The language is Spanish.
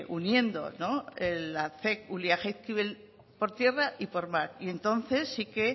uniendo ulia jaizkibel por tierra y por mar y entonces sí que